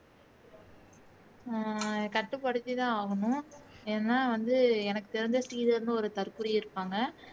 அஹ் கட்டுப்படுத்திதான் ஆகணும் ஏன்னா வந்து எனக்கு தெரிஞ்ச ஸ்ரீதர்ன்னு ஒரு தற்குறி இருப்பாங்க